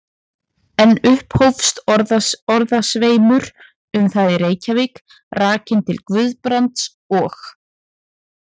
Enn upphófst orðasveimur um það í Reykjavík, rakinn til Guðbrands og